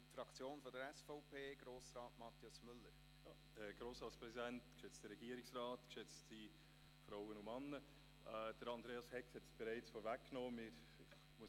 Andreas Hegg hat es bereits vorweggenommen, sodass ich eigentlich gar nicht mehr viel sagen muss.